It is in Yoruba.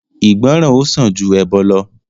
igboran ó sàn ju ẹbọ lọ